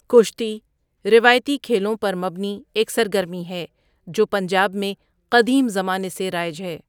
کشتی روایتی کھیلوں پر مبنی ایک سرگرمی ہے، جو پنجاب میں قدیم زمانے سے رائج ہے۔